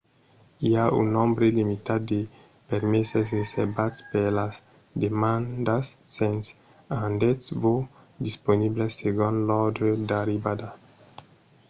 i a un nombre limitat de permeses reservats per las demandas sens rendetz-vos disponibles segon l'òrdre d'arribada